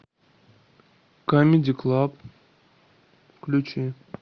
камеди клаб включи